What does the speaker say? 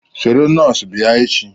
Soro nọọsụ bia echi